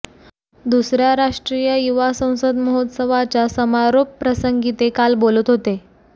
दुसऱ्या राष्ट्रीय युवा संसद महोत्सवाच्या समारोपप्रसंगी ते काल बोलत होते